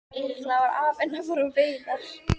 Líklega var afinn að fara á veiðar.